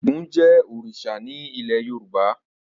Ògún jẹ́ òrìṣà ní ilé Yorùbá.